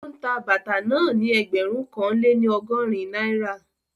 Ó ń ta bàtà náà ni ẹgbẹ̀rún kan lé ní ọgọ́rin náírà